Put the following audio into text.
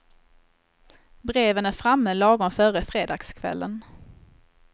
Breven är framme lagom före fredagskvällen.